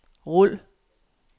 rul